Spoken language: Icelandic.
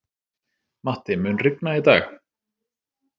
Matti, mun rigna í dag?